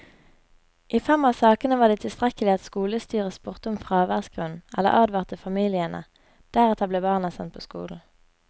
I fem av sakene var det tilstrekkelig at skolestyret spurte om fraværsgrunn eller advarte familiene, deretter ble barna sendt på skolen.